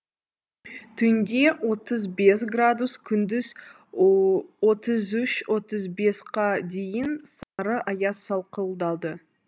түнде отыз бес градус күндіз отыз үш отыз бесқа дейін сары аяз сақылдады